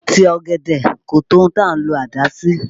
Ìtì ọ̀gẹ̀dẹ̀ kò tó ohun à ń lọ àdá sí